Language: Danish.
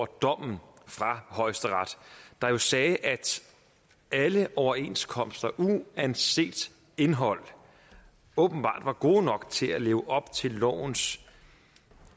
dommen fra højesteret der jo sagde at alle overenskomster uanset indhold åbenbart var gode nok til at leve op til lovens